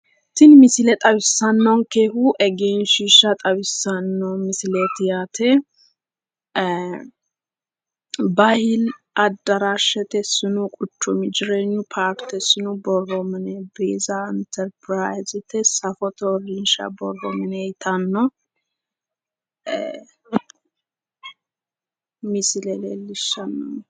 Tini misile xawissannonkehu egenshiishsha xawissanno misileeti yaate. Bahiili adaraashshete noo quchumu jireenyu paarte sinu borro mine interpiraayizete safote uurrinsha borro mine yitanno.